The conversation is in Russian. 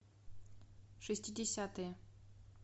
шестидесятые